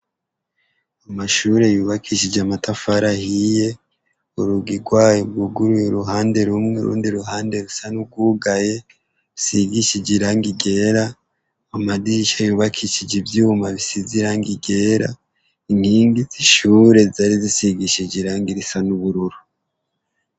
Amashure yubakishije amatafari ahiye, urugi rw'ayo rwuguruye uruhande rumwe, urundi ruhande rusa n'urwugaye, rusigishije irangi ryera, amadirisha yubakishije ivyuma bisize irangi ryera, inkingi z'ishure zari zisigishije irangi risa n'ubururu.